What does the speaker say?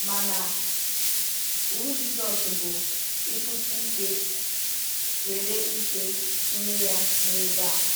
Mana iwu Jizọs bụ “ịkwụsị ikpe” nwere ike itinye ya n’ebe a.